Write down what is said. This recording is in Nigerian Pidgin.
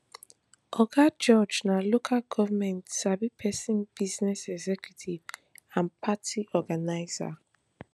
oga george na local goment sabi pesin business executive and party organizer